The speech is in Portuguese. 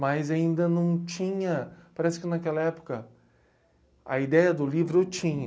Mas ainda não tinha, parece que naquela época, a ideia do livro eu tinha.